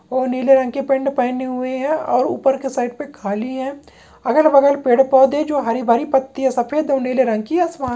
और नीले रंग के पैंट पहने हुए है और ऊपर के साइड पे खाली है अगल बगल पेड़ पौधे जो हरी भरी पत्तियां सफेद और नीले रंग की आसमान --